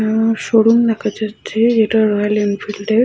আ showroom দেখা যাচ্ছে যেটা রয়্যাল এনফিল্ড -এর ।